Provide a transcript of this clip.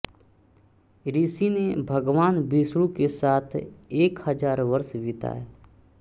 ऋषि ने भगवान विष्णु के साथ एक हजार वर्ष बिताए